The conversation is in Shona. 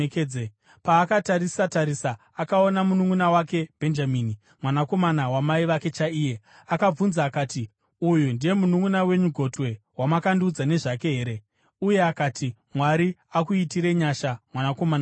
Paakatarisa-tarisa akaona mununʼuna wake Bhenjamini, mwanakomana wamai vake chaiye, akabvunza akati, “Uyu ndiye mununʼuna wenyu gotwe, wamakandiudza nezvake here?” Uye akati, “Mwari akuitire nyasha, mwanakomana wangu.”